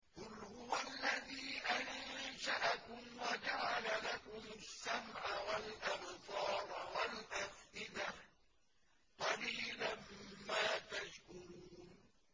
قُلْ هُوَ الَّذِي أَنشَأَكُمْ وَجَعَلَ لَكُمُ السَّمْعَ وَالْأَبْصَارَ وَالْأَفْئِدَةَ ۖ قَلِيلًا مَّا تَشْكُرُونَ